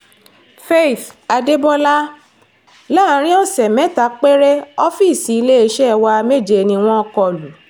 faith adébólà láàrin ọ̀sẹ̀ mẹ́ta péré ọ́fíìsì iléeṣẹ́ wa méje ni wọ́n kọ lù